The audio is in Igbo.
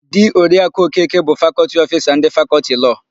Di Oriaku Okeke bụ Fakọltị Ofisa ndị Fakọltị Lọọ.